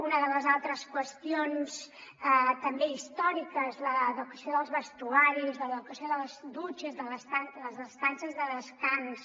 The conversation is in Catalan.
una de les altres qüestions també històriques l’adequació dels vestidors l’ade·quació de les dutxes de les estances de descans